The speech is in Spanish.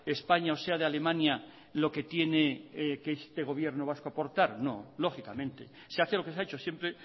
españa o sea de alemania lo que tiene que este gobierno vasco aportar no lógicamente se hace lo que se ha hecho siempre